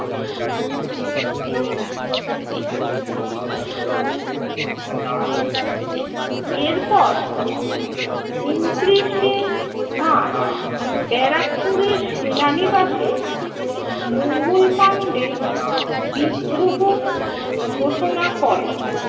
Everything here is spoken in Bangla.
এরপর ঊনত্রিশে মার্চ ব্যারাকপুরের সেনানিবাসে মঙ্গল পান্ডে বিদ্রোহ ঘোষণা করেন।